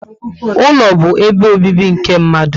Ụlọ bu ebe obibi nke mmadụ